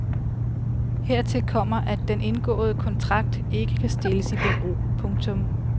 Hertil kommer at den indgåede kontrakt ikke kan stilles i bero. punktum